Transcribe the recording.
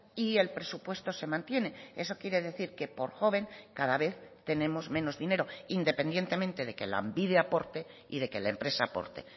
y el presupuesto se mantiene eso quiere decir que por joven cada vez tenemos menos dinero independientemente de que lanbide aporte y de que la empresa aporte